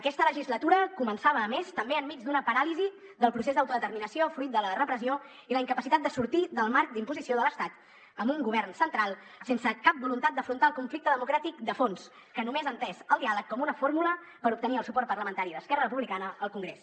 aquesta legislatura començava a més també enmig d’una paràlisi del procés d’autodeterminació fruit de la repressió i la incapacitat de sortir del marc d’imposició de l’estat amb un govern central sense cap voluntat d’afrontar el conflicte democràtic de fons que només ha entès el diàleg com una fórmula per obtenir el suport parlamentari d’esquerra republicana al congrés